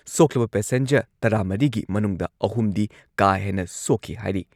ꯁꯣꯛꯂꯕ passenger ꯇꯔꯥꯃꯔꯤꯒꯤ ꯃꯅꯨꯡꯗ ꯑꯍꯨꯝꯗꯤ ꯀꯥ ꯍꯦꯟꯅ ꯁꯣꯛꯈꯤ ꯍꯥꯏꯔꯤ ꯫